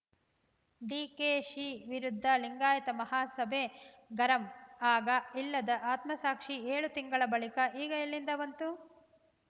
ಡಿಕೆಶಿ ವಿರುದ್ಧ ಲಿಂಗಾಯತ ಮಹಾಸಭೆ ಗರಂ ಆಗ ಇಲ್ಲದ ಆತ್ಮಸಾಕ್ಷಿ ಏಳು ತಿಂಗಳ ಬಳಿಕ ಈಗ ಎಲ್ಲಿಂದ ಬಂತು